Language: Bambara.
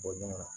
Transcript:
Bɔ ɲɔgɔn na